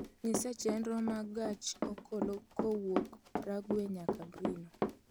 nyisa chenro mag gach okolo kowuok prague nyaka brino